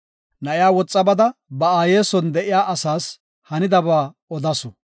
Na7iya woxa bada, ba aaye son de7iya asaas hanidaba odasu.